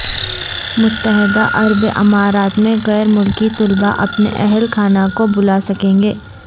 متحدہ عرب امارات میں غیر ملکی طلبہ اپنے اہل خانہ کو بلا سکیں گے